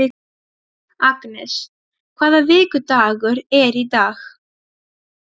Agnes, hvaða vikudagur er í dag?